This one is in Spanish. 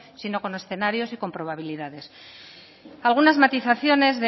sino con escenarios y con probabilidades algunas matizaciones